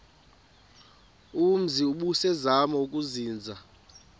umzi ubusazema ukuzinza